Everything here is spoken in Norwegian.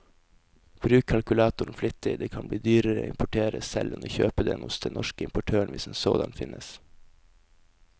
Bruk kalkulatoren flittig, det kan bli dyrere å importere selv enn å kjøpe den hos den norske importøren hvis en sådan finnes.